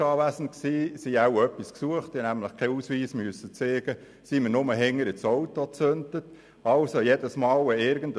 Offenbar suchten sie etwas, denn ich musste nicht den Ausweis zeigen, sie kontrollierten lediglich mit der Taschenlampe den Rücksitz.